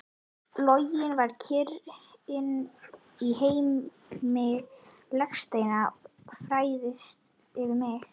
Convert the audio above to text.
Lognið og kyrrðin í heimi legsteinanna færist yfir mig.